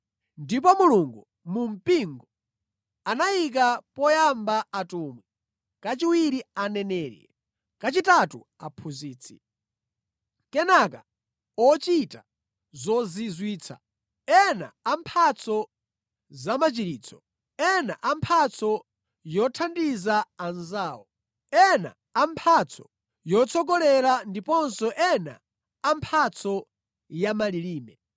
Ndipo Mulungu mu mpingo anayika poyamba atumwi, kachiwiri aneneri, kachitatu aphunzitsi, kenaka ochita zozizwitsa, ena a mphatso zamachiritso, ena a mphatso yothandiza anzawo, ena a mphatso yotsogolera ndiponso ena a mphatso ya malilime.